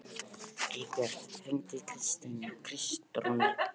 Eybjört, hringdu í Kristrúnu.